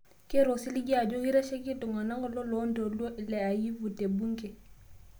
Keeta osiligi ajo keitasheki iltung'ana loloontoluo le Ayivu te bunge